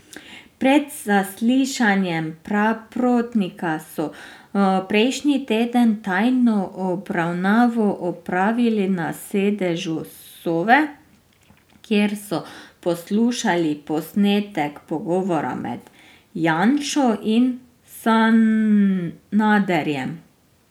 Pred zaslišanjem Praprotnika so prejšnji teden tajno obravnavo opravili na sedežu Sove, kjer so poslušali posnetek pogovora med Janšo in Sanaderjem.